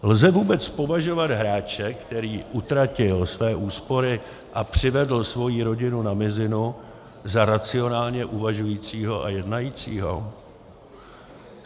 Lze vůbec považovat hráče, který utratil své úspory a přivedl svoji rodinu na mizinu, za racionálně uvažujícího a jednajícího?